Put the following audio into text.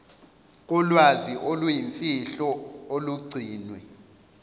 kolwazi oluyimfihlo olugcinwe